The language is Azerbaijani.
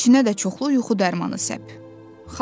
İçinə də çoxlu yuxu dərmanı səp.